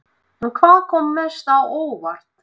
En hvað kom mest á óvart?